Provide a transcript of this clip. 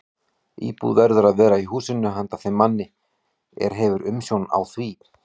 Íbúð verður að vera í húsinu handa þeim manni, er hefur umsjón á því.